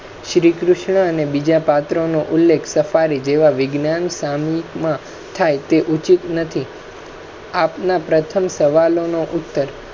શ્રી કૃષ્ણ ને બીજા પાત્ર નો ઉલ્લેખ વિજ્ઞાન માં થાય તે ઉચિત નથી આપના પ્રથમ સવાલો નો ઉત્તર